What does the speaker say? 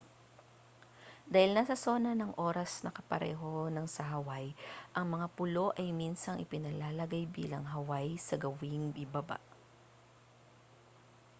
dahil nasa sona ng oras na kapareho ng sa hawaii ang mga pulo ay minsang ipinalalagay bilang hawaii sa gawing ibaba